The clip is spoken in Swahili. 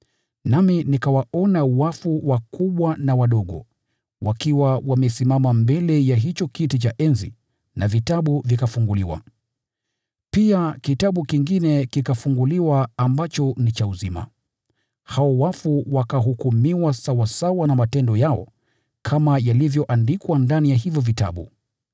Nami nikawaona wafu wakubwa na wadogo, wakiwa wamesimama mbele ya hicho kiti cha enzi na vitabu vikafunguliwa. Pia kitabu kingine kikafunguliwa ambacho ni kitabu cha uzima. Hao wafu wakahukumiwa sawasawa na matendo yao kama yalivyoandikwa ndani ya hivyo vitabu.